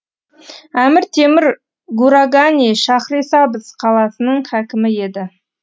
әмір темір гурагани шахрисабз қаласының хәкімі еді